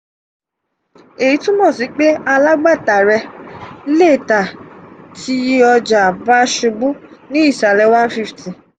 èyí túmọ sí pé alágbàtà rẹ lé tà tí ọja bá ṣubú ní ìsàlẹ̀ one hundred fifty